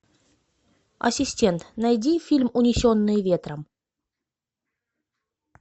ассистент найди фильм унесенные ветром